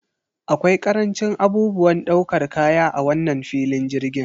Akwai karancin abubuwan ɗaukar kaya a wannan filin jirgin.